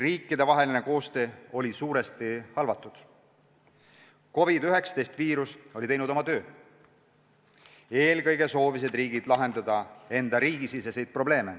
Riikidevaheline koostöö oli suuresti halvatud, COVID-19 viirus oli teinud oma töö ja eelkõige soovisid riigid lahendada enda siseprobleeme.